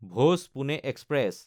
ভোজ–পুনে express